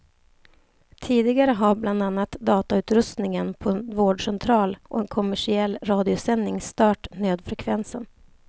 Tidigare har bland annat datautrustningen på en vårdcentral och en kommersiell radiosändning stört nödfrekvensen.